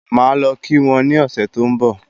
Máà lọ kí wọn ni ọ̀sẹ̀ tó ń bò